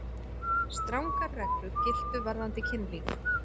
Strangar reglur giltu varðandi kynlíf.